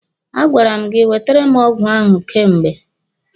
A gwara m gị wetere m ọgwụ ahụ kemgbe!